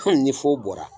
ni foro bɔra